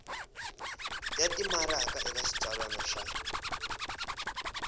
ya timaraka eka xitsalwana xa